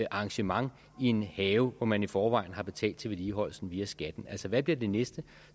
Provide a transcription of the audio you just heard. arrangement i en have hvor man i forvejen har betalt til vedligeholdelsen via skatten altså hvad bliver det næste